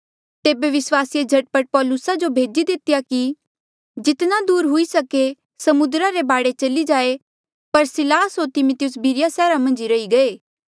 तेबे विस्वासिये झट पट पौलुसा जो भेजी दितेया कि जितना दूर हुई सके समुद्रा रे बाढे चली जाए पर सिलास होर तिमिथियुस बिरिया सैहरा मन्झ रही गये